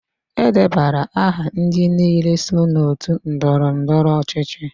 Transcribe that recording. E debara aha ndị niile so n'otu ndọrọ ndọrọ ọchịchị.